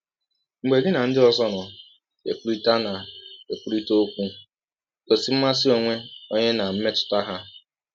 Mgbe gị na ndị ọzọ na - ekwụrịta na - ekwụrịta ọkwụ, gọsi mmasị ọnwe ọnye ná mmetụta ha.